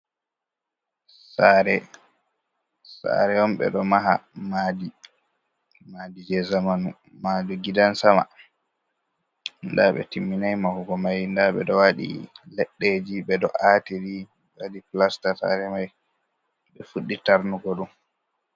"Sare" sare on ɓe ɗo maha madi madije zamanu maɗum gidansama ɗa ɓe timmina mahugo mai ɗa ɓe ɗo waɗi leddeji ɓe ɗo atiri waɗi pilasta sare mai ɓe fuddi tarnugo ɗum.